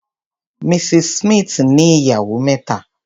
Mrs. Smith ní ìyàwó mẹ́ta.